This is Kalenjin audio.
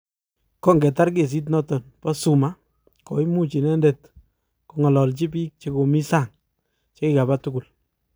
kongetar kesit notok po zuma, koimuch inendet kongalalchi pik chekomi sang chekikapa tugul